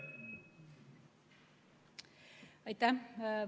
Aitäh!